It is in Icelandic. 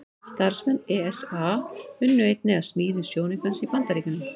Starfsmenn ESA unnu einnig að smíði sjónaukans í Bandaríkjunum.